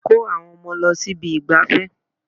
Kó àwọn ọmọ lọ sí ibi ìgbafẹ́.